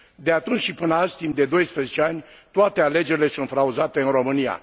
De atunci și până azi, timp de 12 ani, toate alegerile sunt fraudate în România.